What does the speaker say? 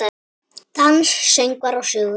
Dans, söngvar og sögur.